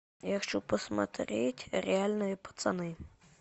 я хочу посмотреть реальные пацаны